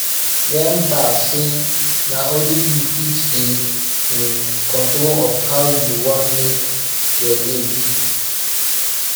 remmba say na only yu fit dey in control of how yu wan mek yur day be